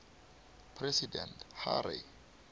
president harry